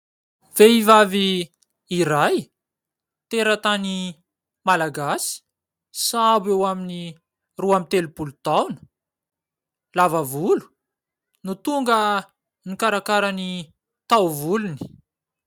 Vehivavy iray teratany Malagasy, sahabo eo amin'ny roa ambin'ny telopolo taona, lava volo no tonga nikarakara ny taovolony.